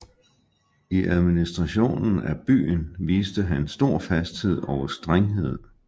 I administrationen af byen viste han stor fasthed og strenghed